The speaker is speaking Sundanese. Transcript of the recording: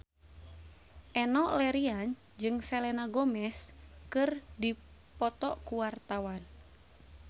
Enno Lerian jeung Selena Gomez keur dipoto ku wartawan